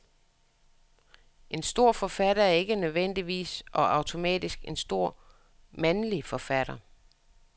En stor forfatter er ikke nødvendigvis og automatisk en stor mandlig forfatter.